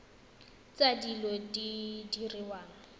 tsa dilo tse di diriwang